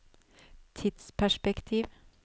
tidsperspektiv